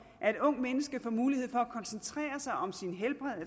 at et ungt menneske får mulighed for at koncentrere